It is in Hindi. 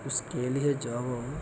उस के लिए --